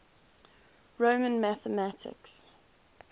roman mathematics